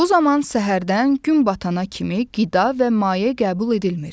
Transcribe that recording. Bu zaman səhərdən gün batana kimi qida və maye qəbul edilmir.